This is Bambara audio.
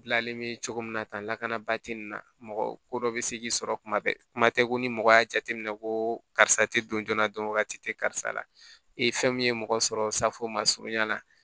Dilanlen bɛ cogo min na tan lakanabaa tɛ nin na mɔgɔ ko dɔ bɛ se k'i sɔrɔ kuma bɛɛ kuma tɛ ko ni mɔgɔ y'a jateminɛ ko karisa tɛ don joona dɔn wagati tɛ karisa la e fɛn min ye mɔgɔ sɔrɔ safo ma surunya la